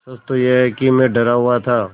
सच तो यह है कि मैं डरा हुआ था